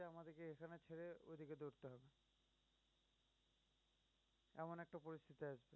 এমন একটা পরিস্থিতি আসবে